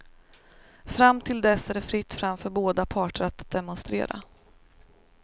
Fram till dess är det fritt fram för båda parter att demonstrera.